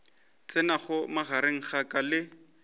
tsenago magareng a ka le